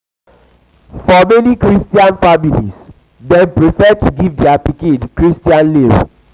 for many christian many christian family dem prefer to give their pikin christian name